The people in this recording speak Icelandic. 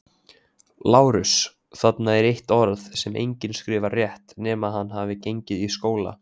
LÁRUS: Þarna er eitt orð, sem enginn skrifar rétt, nema hann hafi gengið í skóla.